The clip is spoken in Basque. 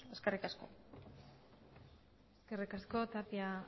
eskerrik asko eskerrik asko tapia